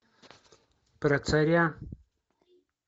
про царя